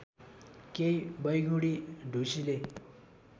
केही वैगुणी ढुसीले